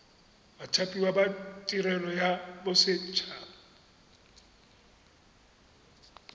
bathapiwa ba tirelo ya boset